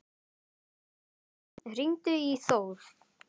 Hróðný, hringdu í Þór.